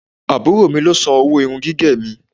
Àbúrò mi ló san owó irun gígẹ̀ mi.